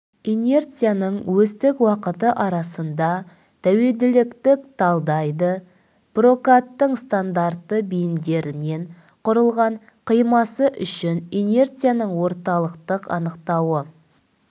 инерцияның осьтік уақыты арасында тәуелділіктік талдайды прокаттың стандартты бейіндерінен құрылған қимасы үшін инерцияның орталықтық анықтауы